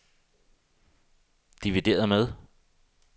divideret med